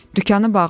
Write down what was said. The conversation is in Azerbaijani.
Dükanı bağla!